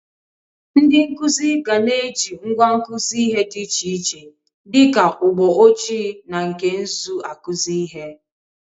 Ndị nkụzị ga na-eji ngwa nkụzị ihe dị iche iche dị ka ụgbọ ojii na nke nzụ akụzị ihe.